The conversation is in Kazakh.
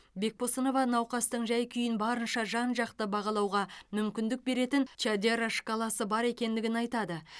бекбосынова науқастың жай күйін барынша жан жақты бағалауға мүмкіндік беретін чадера шкаласы бар екендігін айтады